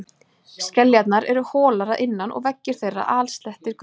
Skeljarnar eru holar að innan og veggir þeirra alsettir götum.